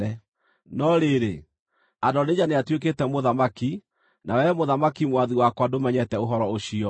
No rĩrĩ, Adonija nĩatuĩkĩte mũthamaki, na wee mũthamaki mwathi wakwa ndũmenyete ũhoro ũcio.